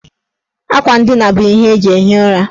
Akwa ndina bụ ihe eji ehi ụra.